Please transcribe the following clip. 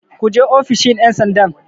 Ku je ofishin 'yansandan!